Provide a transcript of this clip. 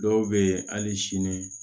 Dɔw bɛ yen hali sini